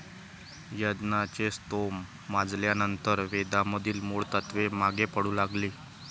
यज्ञाचे स्तोम माजल्यानंतर वेदामधील मूळ तत्त्वे मागे पडू लागली.